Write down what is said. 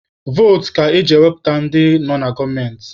Votu ka eji wepụta ndị nọ na gọọmenti.